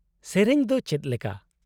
-ᱜᱮᱹᱨᱮᱹᱧ ᱫᱚ ᱪᱮᱫᱞᱮᱠᱟ ?